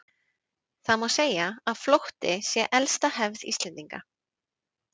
Það má segja að flótti sé elsta hefð Íslendinga.